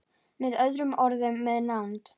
Með öðrum orðum- með nánd.